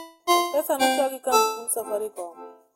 mpesa nochak gi kampund safaricom